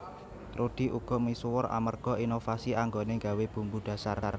Rudy uga misuwur amerga inovasi anggoné nggawé bumbu dhasar